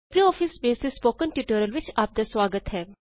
LibreOffice base ਦੇ spoken tutorial ਵਿਚ ਆਪ ਦਾ ਸੁਆਗਤ ਹੈ